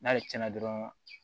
N'ale tiɲɛna dɔrɔn